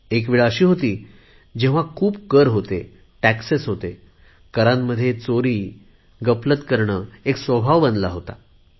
एक वेळ अशी होती जेव्हा कर इतके व्यापक होते की करामध्ये चोरी करणे गफलत करणे एक स्वभाव बनला होता